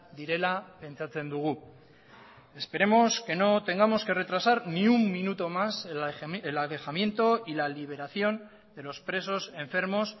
direla pentsatzen dugu esperemos que no tengamos que retrasar ni un minuto más el alejamiento y la liberación de los presos enfermos